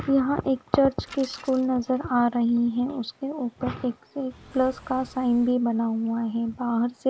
यहाँ एक चर्च की स्कूल नजर आ रही है उसपे उपर प्लस का साइन भी बना हुआ है बाहर से--